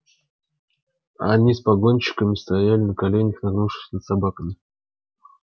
они с погонщиком стояли на коленях нагнувшись над собаками